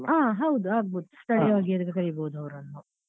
ಹಾ ಹೌದು ಆಗ್ಬೋದು ಸ್ಥಳೀಯವಾಗಿ ಆದ್ರು ಕರಿಬೋದು ಅವ್ರನ್ನು.